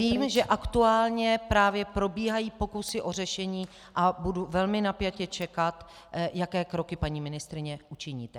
Vím, že aktuálně právě probíhají pokusy o řešení a budu velmi napjatě čekat, jaké kroky, paní ministryně, učiníte.